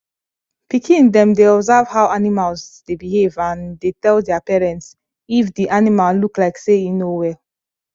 pikin dem dey observe how animals dey behave and dey tell their parents if di animal look like say e no well